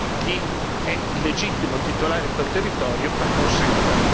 chi è il legittimo titolare di quel territorio acconsenta.